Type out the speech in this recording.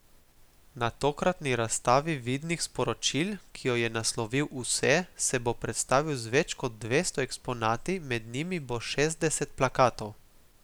Na tokratni razstavi vidnih sporočil, ki jo je naslovil Vse, se bo predstavil z več kot dvesto eksponati, med njimi bo šestdeset plakatov.